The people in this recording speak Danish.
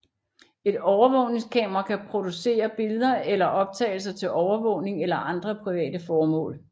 Et overvågningskamera kan producere billeder eller optagelser til overvågning eller andre private formål